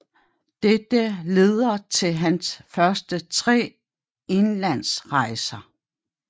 Dette leder til hans første tre Englandsrejser